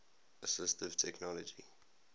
assistive technology